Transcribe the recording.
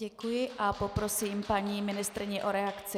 Děkuji a poprosím paní ministryni o reakci.